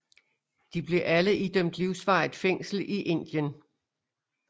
De blev alle idømt livsvarigt fængsel i Indien